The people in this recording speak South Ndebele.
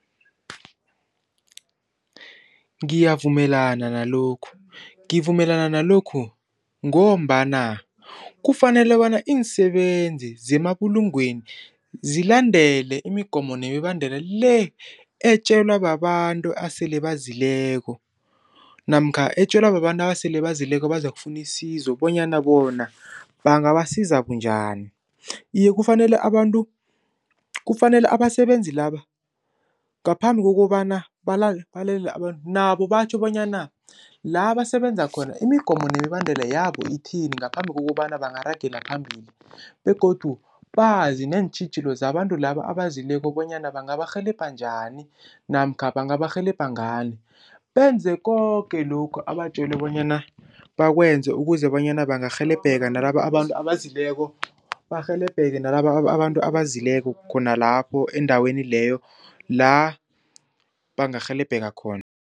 Ngiyavumelana nalokhu, ngivumelana nalokhu ngombana kufanele bona iinsebenzi zemabulungweni zilandele imigomo nemibandela le etjelwa babantu esele bazileko, namkha etjelwa babantu abasele bazileko bazokufuna isizo bonyana bona bangabasiza bunjani. Iye, kufanele abantu, kufanele abasebenzi laba ngaphambi kokobana balalele abantu nabo batjho bonyana la basebenzakhona imigomo nemibandela yabo ithini ngaphambi kokobana baragela phambili begodu bazi neentjhijilo zabantu laba abezileko bonyana bangabarhelebha njani namkha bangabarhelebha ngani. Benze koke lokhu abatjelwe bonyana bakwenze ukuze bonyana bangarhelebheka nalaba abantu abezileko, barhelebheke nalaba abantu abezileko khona lapho endaweni leyo la bangarhelebheka khona.